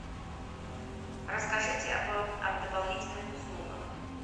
расскажите о дополнительных услугах